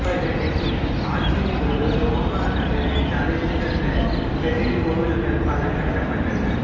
அவர்களின் ஆட்சியின்போது உரோமை நகரில் தலைசிறந்த பெருங்கோவில்கள் பல கட்டப்பட்டன